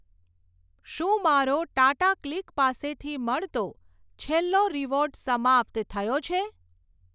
શું મારો ટાટાક્લિક પાસેથી મળતો છેલ્લો રીવોર્ડ સમાપ્ત થયો છે?